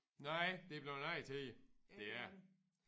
Nej det er blevet en anden tid det er det